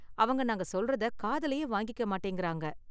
அவங்க நாங்க சொல்றத காதுலயே வாங்கிக்க மாட்டேங்குறாங்க